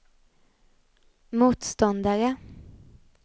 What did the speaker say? motståndare